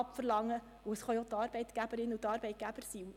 Somit können es auch die Arbeitgeber und Arbeitgeberinnen sein.